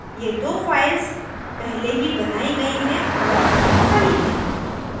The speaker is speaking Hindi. ये दो files पहले ही बनायी गयी हैं और दोनों खाली हैं